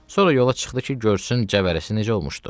Sonra yola çıxdı ki, görsün cəvərəsi necə olmuşdu.